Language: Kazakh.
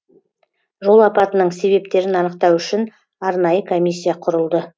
жол апатының себептерін анықтау үшін арнайы комиссия құрылды